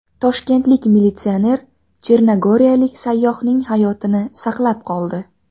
Toshkentlik militsioner chernogoriyalik sayyohning hayotini saqlab qoldi.